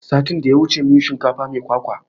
Satin da ya wuce mun yi shinkafa mai kwakwa